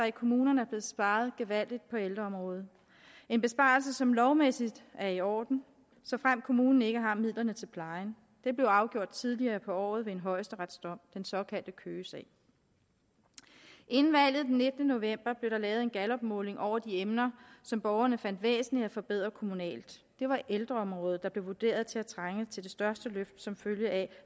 i kommunerne er blevet sparet gevaldigt på ældreområdet en besparelse som lovmæssigt er i orden såfremt kommunen ikke har midlerne til plejen det blev afgjort tidligere på året ved en højesteretsdom i den såkaldte køgesag ingen valget den nittende november blev der lavet en gallupmåling over de emner som borgerne fandt væsentlige at forbedre kommunalt det var ældreområdet der blev vurderet til at trænge til det største løft som følge af